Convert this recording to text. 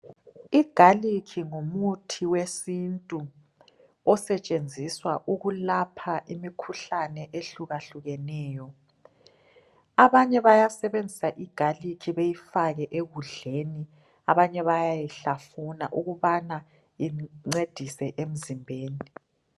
I"garlic" ngumuthi wesintu osetshenziswa ukulapha imikhuhlane ehlukahlukeneyo. Abanye bayasebenzisa i"garlic" beyifake ekudleni, abanye bayayihlafuna ukubana incedise emzimbeni.